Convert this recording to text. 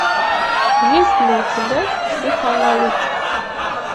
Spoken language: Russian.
есть ли у тебя психоаналитик